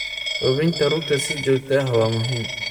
Hubinta rugta si joogto ah waa muhiim.